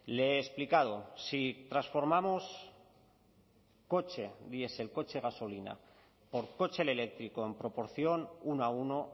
le he explicado si transformamos coche diesel coche gasolina por coche eléctrico en proporción uno a uno